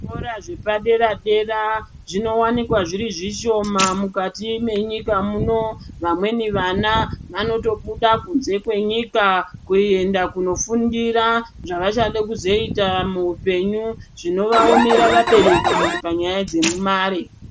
Zvokora zvepadera-dera zvinowanikwa zviri zvishoma mukati menyika muno, vamweni vana vanotobuda kunze kwenyika kuenda kunofundira zvavachade kuzoita muupenyu zvinovaomera vabereki panyaya dzemare.